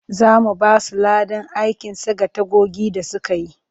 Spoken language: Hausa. Za mu ba su ladan aikin saka tagogi da suka yi